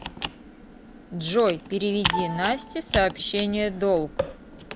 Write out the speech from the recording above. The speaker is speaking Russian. джой переведи насте сообщение долг